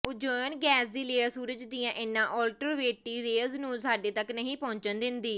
ozone gas ਦੀ layer ਸੂਰਜ ਦੀਆਂ ਇਨ੍ਹਾਂ ਅਲਟਰਾਵਾਇਲੇਟ ਰੇਅਜ਼ ਨੂੰ ਸਾਡੇ ਤੱਕ ਨਹੀਂ ਪਹੁੰਚਣ ਦਿੰਦੀ